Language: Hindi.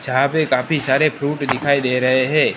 जहां पे काफी सारे फ्रूट दिखाई दे रहें हैं।